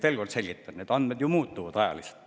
Veel kord selgitan: need andmed ju muutuvad ajas.